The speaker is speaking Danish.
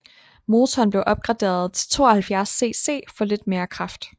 Motoren blev opgraderet til 72cc for lidt mere kraft